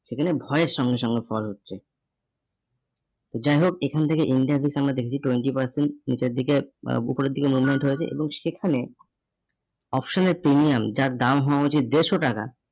সেখানে ভয়ের সঙ্গে সঙ্গে fall হচ্ছে। তো যাই হোক এখান থেকে India base আমরা দেখেছি twenty percent নিচের দিকে উপরের দিকে movement হয়েছে এবং সেখানে option এর premium যার দাম হওয়া উচিত দেড়শো টাকা